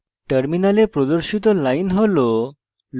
terminal প্রদর্শিত line হল